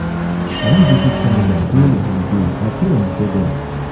i wan visit senegal um during the holiday my parents dey there um